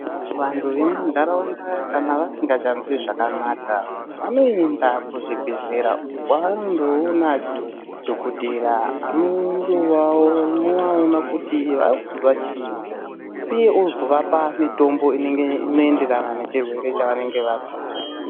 Vandu vemundaraunda kana vasingachazwi zvakanaka vanoenda kuzvibhedhlera uko kwavanondoona dhokoteya andovaona kuti vakunzwa chii uye ozovapa mitombo inoenderana nechirwere chavari kuzwa.